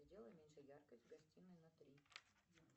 сделай меньше яркость в гостиной на три